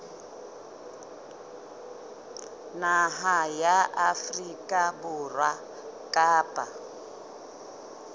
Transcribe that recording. naha ya afrika borwa kapa